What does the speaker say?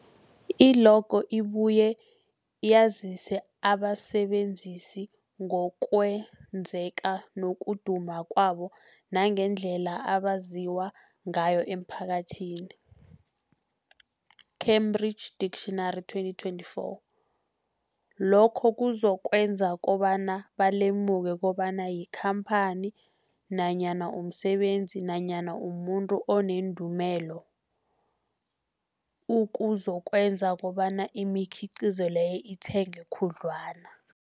I-logo ibuye yazise abasebenzisi ngokwazeka nokuduma kwabo nangendlela abaziwa ngayo emphakathini, Cambridge Dictionary 2024. Lokho kuzokwenza kobana balemuke kobana yikhamphani nanyana umsebenzi nanyana umuntu onendumela, okuzokwenza kobana imikhiqhizo leyo ithengwe khudlwana.